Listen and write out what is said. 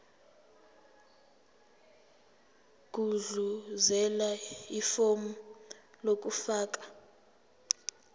gudluzela ifomu lokufaka